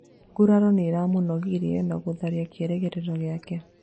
Nguraro nĩiramũnogirie na gũthararia kĩrĩgĩrĩro gĩake